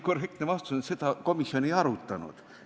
Korrektne vastus on, et seda komisjon ei arutanud.